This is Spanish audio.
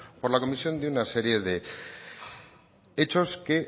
por la comisión de una serie de hechos que